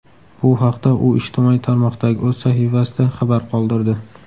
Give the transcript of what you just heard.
Bu haqda u ijtimoiy tarmoqdagi o‘z sahifasida xabar qoldirdi .